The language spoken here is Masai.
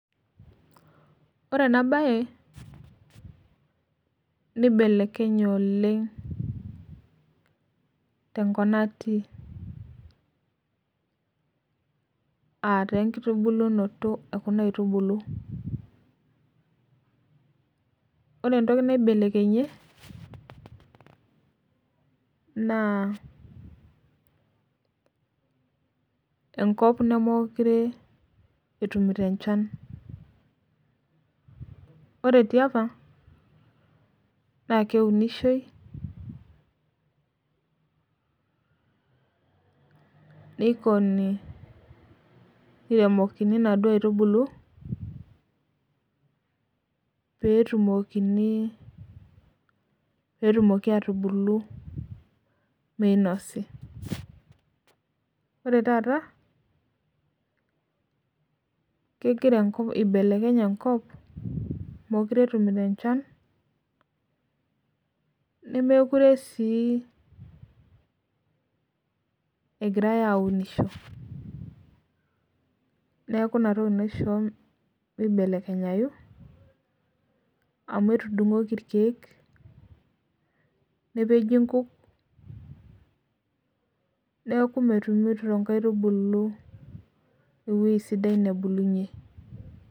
Ore enabae nibelekenye oleng tenkop natii aataa enkitubulunoto ekuna aitubulu ore entoki naibelekenyie na enkop nemekute etumito enchan ore tiapa na leunishoi niremokini naduo aitubulu petumoki atubulu minosi ore taata eibelekenye enkop mekute etumito enchan nemekute si egirai aunisho neaku inatoki naishoo mibelekenyai amu etudungoki irkiek nepeji nkuk neaku metumoki nkaitubulu ewoi sidai nebulunye.